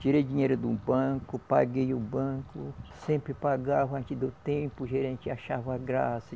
Tirei dinheiro de um banco, paguei o banco, sempre pagava antes do tempo, o gerente achava graça.